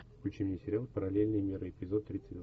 включи мне сериал параллельные миры эпизод тридцать два